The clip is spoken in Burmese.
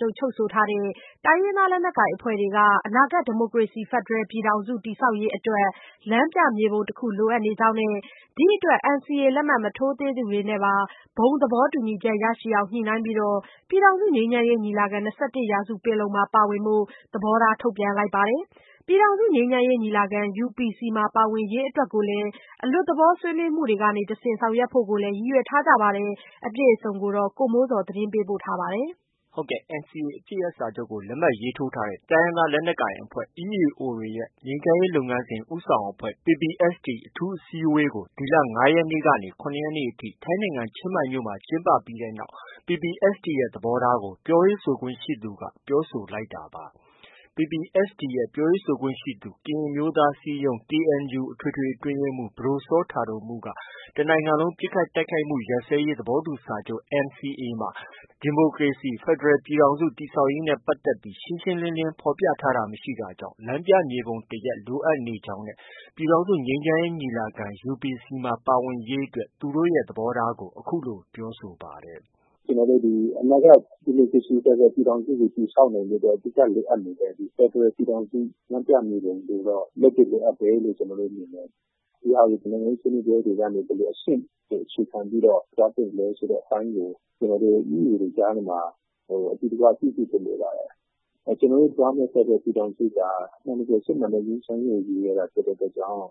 ချုပ် ချုပ်ဆိုထားတဲ့ တိုင်းရင်းသား လက်နက်ကိုင် အဖွဲ့တွေက အနာဂတ် ဒီမိုကရေစီ ဖက်ဒရယ် ပြည်ထောင်စု တည်ဆောက်ရေး အတွက် လမ်းပြမြေပုံတခု လိုအပ်နေကြောင်းနဲ့ ဒီအတွက် NCA လက်မှတ် မထိုးသူတွေနဲ့ပါ ဘုံသဘော တူညီချက် ရရှိအောင် ညှိနှိုင်းပြီး ပြည်ထောင်စု ငြိမ်းချမ်းရေးညီလာခံ- ၂၁ရာစုပင်လုံမှာ ပါဝင်ဖို့ သဘောထား ထုတ်ပြန်ထားပါတယ်။ ပြည်ထောင်စု ငြိမ်းချမ်းရေး ညီလာခံ UPC မှာ ပါဝင်ရေးအတွက်လည်း အလွတ်သဘော ဆွေးနွေးမှုတွေကနေ တဆင့် ဆောင်ရွက်ဖို့ကိုလည်း ရည်ရွယ်ထားကြပါတယ်။ ဒီသတင်း အပြည့်အစုံကိုတော့ ဗီအိုအေမြန်မာပိုင်းရဲ့ သတင်းထောက် ကိုမိုးဇော်က တင်ပြထားပါတယ်။ ဟုတ်ကဲ့။ NCA အပစ်ရပ်စာချုပ်ကို လက်မှတ်ရေးထိုးထားတဲ့ တိုင်းရင်းသား လက်နက်ကိုင်အဖွဲ့ EAO တွေရဲ့ ငြိမ်းချမ်းရေး လုပ်ငန်းစဉ် ဦးဆောင်အဖွဲ့ PPST အထူးအစည်းအဝေးကို ဒီလ ၅ရက်နေ့ကနေ ၇ရက်နေ့ အထိ ထိုင်းနိုင်ငံ ချင်းမိုင်မြို့မှာ ကျင်းပပြီးတဲ့နောက် PPSTရဲ့သဘောထားကို ပြောရေးဆိုခွင့်ရှိသူက ပြောဆိုလိုက်တာပါ။ PPST ရဲ့ ပြောရေးဆိုခွင့်ရှိသူ ကရင်အမျိုးသား အစည်းအရုံး KNU အထွေထွေ အတွင်းရေးမှုး ပဒိုစောတာဒိုမှုးက တစ်နိုင်ငံလုံး ပစ်ခတ်တိုက်ခိုက်မှု ရပ်စဲရေး သဘောတူစာချုပ် NCAမှာ ဒီမိုကရေစီဖက်ဒရယ် ပြည်ထောင်စု တည်ဆောက်ရေးနဲ့ ပတ်သက်ပြီး ရှင်းရှင်းလင်းလင်း ဖော်ပြထားတာမရှိတာကြောင့် လမ်းပြမြေပုံတစ်ရပ် လိုအပ်နေတာဖြစ်ကြောင်းနဲ့ ပြည်ထောင်စုငြိမ်းချမ်းရေး ညီလာခံ UPC မှာ ပါဝင်ရေးအတွက် သူတို့ ရဲ့ သဘောထားကို အခုလို ပြောဆိုပါတယ်။ “ကျနော်တို့ အနာဂတ် ဒီမိုကရေစီ ဖက်ဒရယ် ပြည်ထောင်စုကို တည်ဆောက်နိုင်ဖို့ အဓိက လိုအပ်နေတဲ့ ဖက်ဒရယ် ပြည်ထောင်စု လမ်းပြမြေပုံကိုတော့ လက်တွေ့လိုအပ်တယ်လို့ ကျနော်တို့ မြင်တယ်။ ဒီဟာကို နိုင်ငံရေး ဆွေးနွေးပွဲတွေကနေ တဆင့် ဘယ်လိုအချက်ကို အခြေခံပြီးတော့ သွားသင့်တယ်ဆိုတဲ့ အပိုင်းကို ကျနော်တို့ EAOတွေ ကြားထဲမှာ အတူတကွပြုစုဖို့ လိုပါတယ်။ ကျနော်တို့ သွားမယ့် ဖက်ဒရယ် ပြည်ထောင်စုက အမှန်တကယ် စစ်မှန်တဲ့ ငြိမ်းချမ်းရေးကို ရည်ရွယ်တာဖြစ်တဲ့ အတွက်ကြောင့်